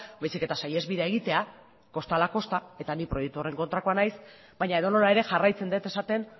baizik eta saihesbidea egitea kostala kosta eta nik proiektu horren kontrakoa naiz baina edonola ere jarraitzen dut esaten